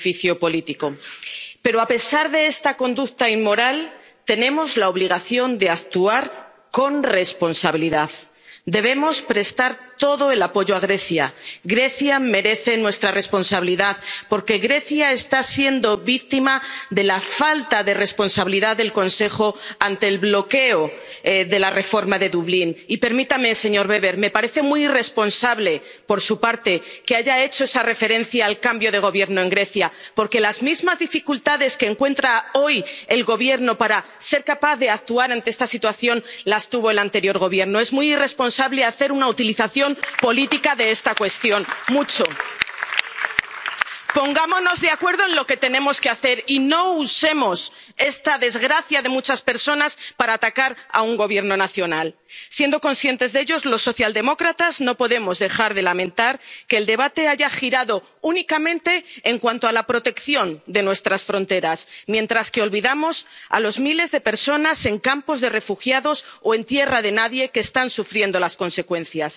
Señor presidente, en los últimos días hemos sido testigos de la actitud temerosa del presidente de Turquía al utilizar la vida de seres humanos vulnerables en búsqueda de su propio beneficio político. Pero, a pesar de esta conducta inmoral, tenemos la obligación de actuar con responsabilidad. Debemos prestar todo el apoyo a Grecia. Grecia merece nuestra responsabilidad. Porque Grecia está siendo víctima de la falta de responsabilidad del Consejo ante el bloqueo de la reforma de Dublín. Y permítame, señor Weber me parece muy irresponsable por su parte que haya hecho esa referencia al cambio de gobierno en Grecia, porque las mismas dificultades que encuentra hoy el Gobierno para ser capaz de actuar ante esta situación las tuvo el anterior Gobierno. Es muy irresponsable hacer una utilización política de esta cuestión, mucho. Pongámonos de acuerdo en lo que tenemos que hacer y no usemos esta desgracia de muchas personas para atacar a un gobierno nacional. Siendo conscientes de ello, los socialdemócratas no podemos dejar de lamentar que el debate haya girado únicamente en torno a la protección de nuestras fronteras, mientras que olvidamos a los miles de personas, en campos de refugiados o en tierra de nadie, que están sufriendo las consecuencias.